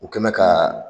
U kɛ mɛ ka